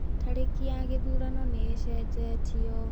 Tarĩki ya gĩthurano nĩ ĩcenjetio.